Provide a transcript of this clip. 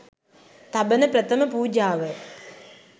තබන ප්‍රථම පූජාව